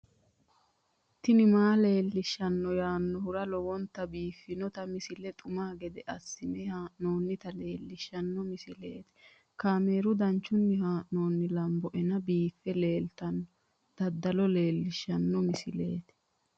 tini maa leelishshanno yaannohura lowonta biiffanota misile xuma gede assine haa'noonnita leellishshanno misileeti kaameru danchunni haa'noonni lamboe biiffe leeeltanno dadalo leelishshanno misileeti